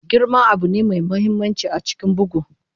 Girman abu ne mai mahimmanci a cikin bugu.